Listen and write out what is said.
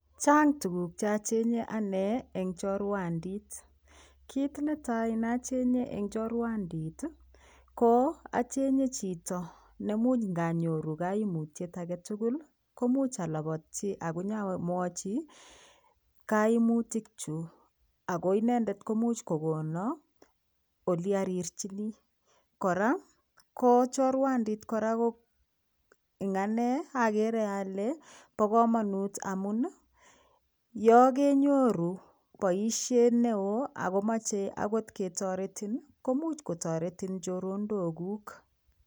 Chang tukuk che ichenge anee en chorwandii kit netai neochenge en chorwandii ko ichenge chito nemuche inonyoru kimutyet agetukul koimuch olopotyi akonyomwochi koinutik chuu ako inendet koimuch kokonor ole orirchinii. Koraa ko chorwandii Koraa koo en anee okere ole bo komonut amun yon kenyoru boishet neo ako moche okot ketoretenin nii komuch kotoretin choronok kuuk.